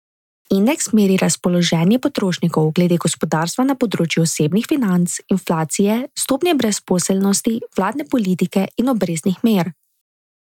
Indeks meri razpoloženje potrošnikov glede gospodarstva na področju osebnih financ, inflacije, stopnje brezposelnosti, vladne politike in obrestnih mer.